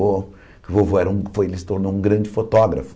O vovô era um foi e se tornou um grande fotógrafo.